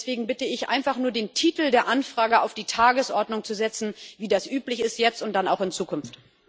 Deswegen bitte ich einfach nur, den Titel der Anfrage auf die Tagesordnung zu setzen, so wie das üblich ist jetzt und dann auch in Zukunft.